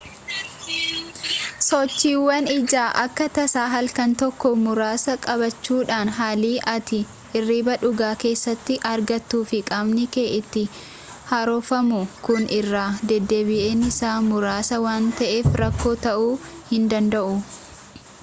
sochiwwan ijaa akka tasaa halkan tokkoo muraasa qabaachuudhaan haalli ati irriba dhugaa keessatti argattuu fi qaamni kee itti haaromfamu kun irra-deddeebiin isaa muraasa waan ta'eef rakkoo ta'uu hindanda'u